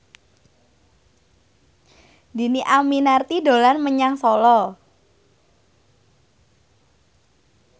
Dhini Aminarti dolan menyang Solo